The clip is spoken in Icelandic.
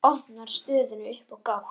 Opnar stöðuna upp á gátt.